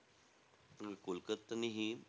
कोलकत्त्यानीही,